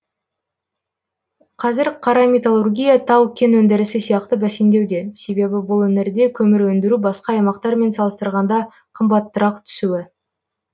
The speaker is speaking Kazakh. қазір қара металлургия тау кен өндірісі сияқты бәсеңдеуде себебі бұл өңірде көмір өндіру басқа аймақтармен салыстырғанда қымбатырақ түсуі